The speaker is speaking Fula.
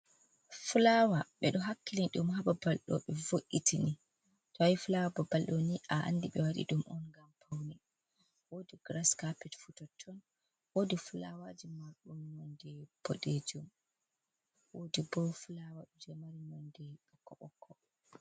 Fulawa ɓeɗo do hakkilini ɗum hababal do ɓe vo’itini to ayi fulawa babal ɗo ni a andi ɓe waɗi ɗum on gam pauni, wodi gras carpit fu toton wodi fulawaji marɗum non de boɗejum wodi bo fulawa ɗo je mari non de bokko bokko.